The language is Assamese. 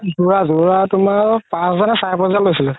জোৰা জোৰা তুমাৰ পাচ হাজাৰ নে চাৰে পাচ হাজাৰ লৈছিলে